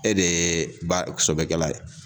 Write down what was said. E de ba sɔbɛkɛla ye.